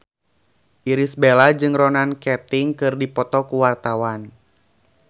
Irish Bella jeung Ronan Keating keur dipoto ku wartawan